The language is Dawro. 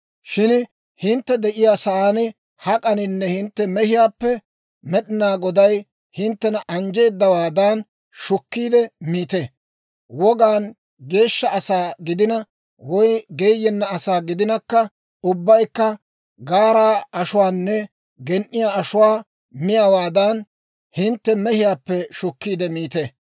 «Shin hintte de'iyaa saan hak'aninne hintte mehiyaappe Med'inaa Goday hinttena anjjeedawaadan shukkiide miite; wogaan geeshsha asaa gidina woy geeyenna asaa gidinakka ubbaykka gaaraa ashuwaanne gen"iyaa ashuwaa miyaawaadan hintte mehiyaappe shukkiide miite.